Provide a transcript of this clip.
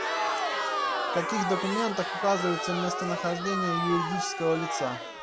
в каких документах указывается местонахождение юридического лица